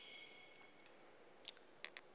yasekwindla